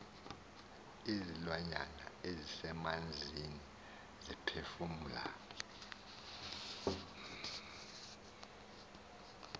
izilwanyana ezisemanzini ziphefumla